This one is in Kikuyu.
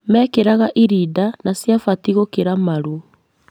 Mekĩraga irida na ciabatiĩ gũkĩra maru